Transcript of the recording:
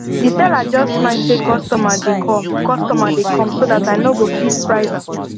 the seller just smile say customer dey come customer dey come so that i nogo fit price am